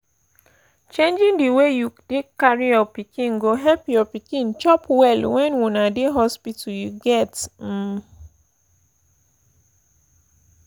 changing the way you take carry your pikin go help your pikin chop well when una dey hospital you get um